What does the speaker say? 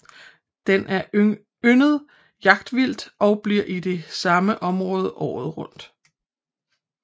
Den er yndet jagtvildt og bliver i det samme område året rundt